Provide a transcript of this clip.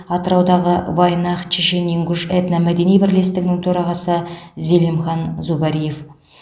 атыраудағы вайнах чешен ингуш этномәдени бірлестігінің төрағасы зелимхан зубариев